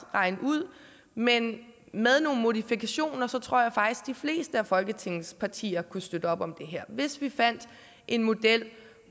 regne ud men med nogle modifikationer tror jeg faktisk de fleste af folketingets partier kunne støtte op om det her hvis vi fandt en model